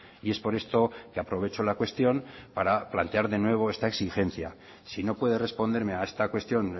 y es por esto que aprovecho la cuestión para plantear de nuevo esta exigencia si no puede responderme a esta cuestión